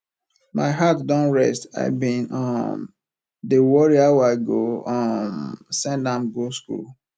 my heart don rest i bin um dey worry how i go um send am go school